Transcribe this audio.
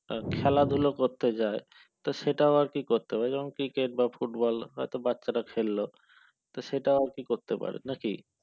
খেলাধুলা করতে যায় তো সেটা আবার কি করতে পারে যেমন কি cricket বা football হয়তো বাচ্চারা খেলল তো সেটাও আর কি করতে পারে নাকি